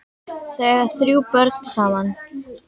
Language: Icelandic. Þau eiga þrjú börn saman.